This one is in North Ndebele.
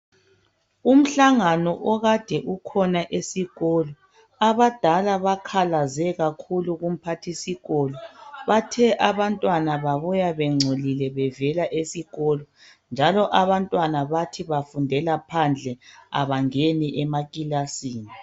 Umhlangano okade ukhona esikolo abadala bakhalaze kakhulu kumphathisikolo bathe abantwana babo babuya bengcolile bevela esikolo njalo abantwana bathi bafundela phandle abangeni amakilasini